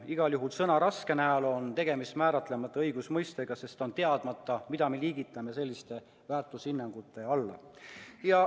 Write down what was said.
Igal juhul on sõna "raske" näol tegemist määratlemata õigusmõistega, sest on teadmata, mida me liigitame selliste väärtushinnangute hulka.